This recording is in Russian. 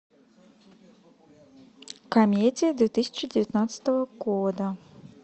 комедия две тысячи девятнадцатого года